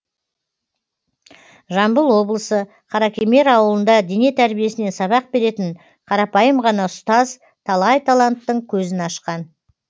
жамбыл облысы қаракемер ауылында дене тәрбиесінен сабақ беретін қарапайым ғана ұстаз талай таланттың көзін ашқан